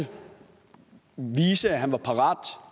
han var parat